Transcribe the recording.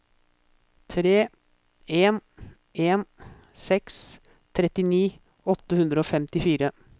tre en en seks trettini åtte hundre og femtifire